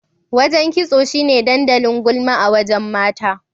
Wajen kitso shine dandalin gulma a wajen mata.